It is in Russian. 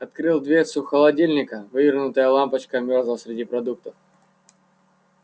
открыл дверцу холодильника вывернутая лампочка мёрзла среди продуктов